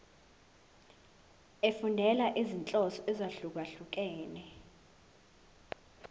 efundela izinhloso ezahlukehlukene